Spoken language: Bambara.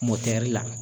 Mɔtɛri la